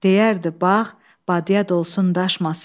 Deyərdi bax, badıya dolsun daşmasın.